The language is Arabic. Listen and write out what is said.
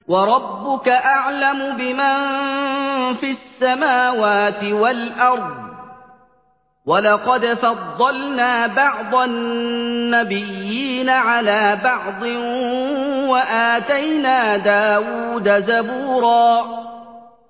وَرَبُّكَ أَعْلَمُ بِمَن فِي السَّمَاوَاتِ وَالْأَرْضِ ۗ وَلَقَدْ فَضَّلْنَا بَعْضَ النَّبِيِّينَ عَلَىٰ بَعْضٍ ۖ وَآتَيْنَا دَاوُودَ زَبُورًا